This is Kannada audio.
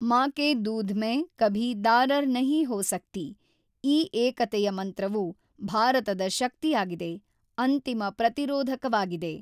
ಮಾ ಕೆ ದೂಧ್ ಮೈನ್ ಕಭಿ ದಾರರ್ ನಹಿ ಹೋ ಸಕ್ತಿ ಈ ಏಕತೆಯ ಮಂತ್ರವು ಭಾರತದ ಶಕ್ತಿಯಾಗಿದೆ, ಅಂತಿಮ ಪ್ರತಿರೋಧಕವಾಗಿದೆ.